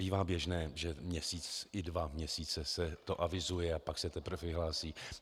Bývá běžné, že měsíc i dva měsíce se to avizuje, a pak se teprve vyhlásí.